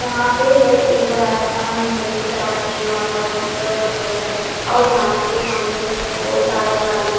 यहाँ पे है एक बड़ा सा महल की तरह दिखने वाला एक होटल है और यहाँ पे सामने से बहुत सारे गाड़ियाँ--